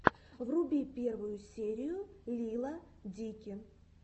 вруби первую серию лила дики